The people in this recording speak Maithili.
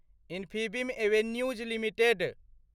Infibeam Avenues limited